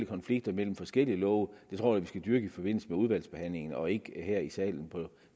konflikter mellem forskellige love i forbindelse med udvalgsbehandlingen og ikke her i salen på